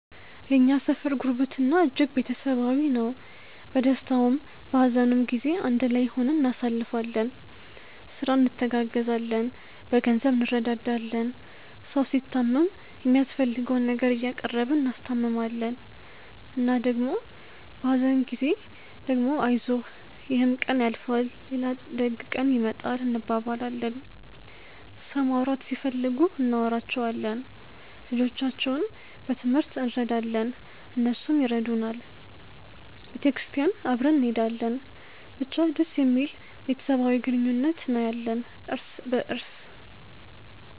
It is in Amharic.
የእኛ ሰፈር ጉርብትና እጅግ ቤተሰባዊ ነው። በደስታውም በሀዘኑም ጊዜ አንድ ላይ ሆነን እናሳልፋለን። ስራ እንተጋገዛለን፣ በገንዘብ እንረዳዳለን። ሰው ሲታመም የሚያስፈልገውን ነገር እያቀረብን እናስታምማለን እና ደግሞ በሀዘን ጊዜ ደግሞ አይዞህ ይሕም ቀን ያልፋል ሌላ ደግ ቀን ይመጣል እንባባላለን። ሰው ማውራት ሲፈልጉ እናወራቸዋለን። ልጆቻቸውን በትሞህርት እረዳለን እነሱም ይረዱናል። ቤተክርስቲያን አብረን እንሔዳለን። ብቻ ደስ የሚል ቤተሰባዊ ግንኙነት ነው ያለን እርስ በርስ።